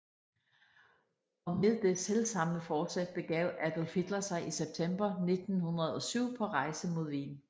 Og med det selv samme forsæt begav Adolf Hitler sig i september 1907 på rejse mod Wien